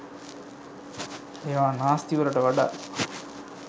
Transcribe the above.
ඒවා නාස්තිවලට වඩා